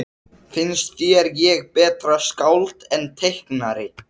Finnst þér ég betra skáld en teiknari?